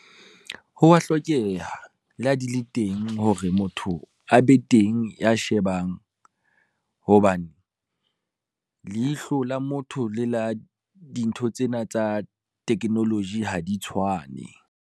Ho wa hlokeha, le ha di le teng hore motho a be teng ya shebang, hobane le ihlola motho le la dintho tsena tsa technology ha di tshwane.